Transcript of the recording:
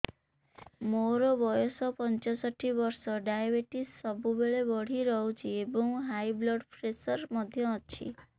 ମୋର ବୟସ ପଞ୍ଚଷଠି ବର୍ଷ ଡାଏବେଟିସ ସବୁବେଳେ ବଢି ରହୁଛି ଏବଂ ହାଇ ବ୍ଲଡ଼ ପ୍ରେସର ମଧ୍ୟ ଅଛି